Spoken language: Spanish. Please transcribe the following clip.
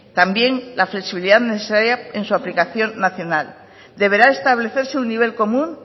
también la flexibilidad necesaria en su aplicación nacional deberán establecerse un nivel común